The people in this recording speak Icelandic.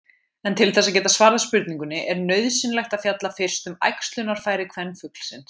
En til þess að geta svarað spurningunni er nauðsynlegt að fjalla fyrst um æxlunarfæri kvenfuglsins.